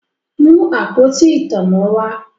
Mú àpótí ìtanná wá!